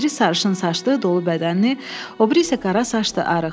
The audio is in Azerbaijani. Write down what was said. Biri sarışın saçlı, dolu bədənli, o biri isə qara saçlı, arıq.